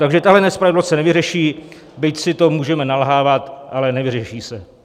Takže tahle nespravedlnost se nevyřeší, byť si to můžeme nalhávat, ale nevyřeší se.